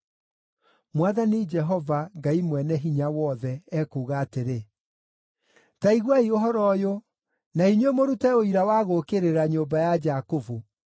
Mwathani Jehova, Ngai Mwene-Hinya-Wothe, ekuuga atĩrĩ: “Ta iguai ũhoro ũyũ, na inyuĩ mũrute ũira wa gũũkĩrĩra nyũmba ya Jakubu.